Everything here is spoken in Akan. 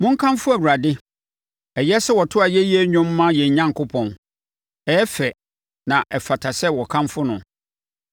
Monkamfo Awurade. Ɛyɛ sɛ wɔto ayɛyie dwom ma yɛn Onyankopɔn, ɛyɛ fɛ na ɛfata sɛ wɔkamfo no!